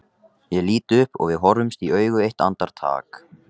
Ég lít upp og við horfumst í augu eitt andartak.